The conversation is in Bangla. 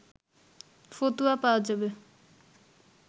ফতুয়া পাওয়া যাবে